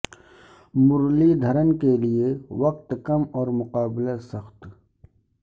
مرلی دھرن کے لیے وقت کم اور مقابلہ سخت